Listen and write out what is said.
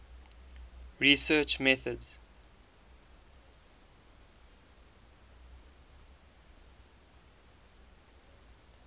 research methods